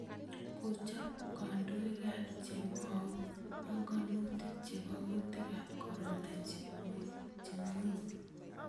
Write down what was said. Kochob kandoiikaab chemweu bonkanutiik chebokuutikaab corona chemweu